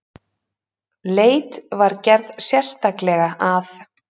Leit var gerð sérstaklega að